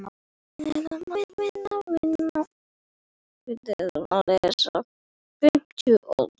Þegar ég hugsa mig um